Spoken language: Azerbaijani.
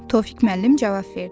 Tofiq müəllim cavab verdi: